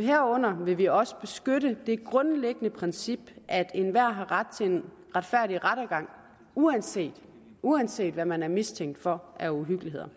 herunder vil vi også beskytte det grundlæggende princip at enhver har ret til en retfærdig rettergang uanset uanset hvad man er mistænkt for af uhyggeligheder